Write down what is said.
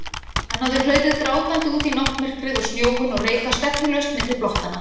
Hann hafði hlaupið grátandi út í náttmyrkrið og snjóinn og reikað stefnulaust milli blokkanna.